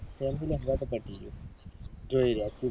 family હન્ગાતે તો પતિ ગયું જોઈ રહ્યા સુ